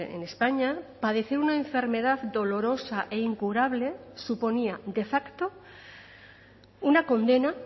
en españa padecer una enfermedad dolorosa e incurable suponía de facto una condena